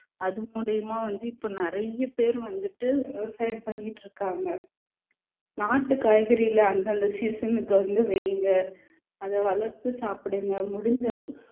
அது மூலியமா வந்து இப்ப நிறைய பேர் வந்துட்டு விவசாயம் பண்ணிட்டு இருக்காங்க நாட்டு காய்கறியில அந்தந்த season க்கு வந்து வைங்க அதை வளர்த்து சாப்பிடுங்க முடிஞ்ச அளவு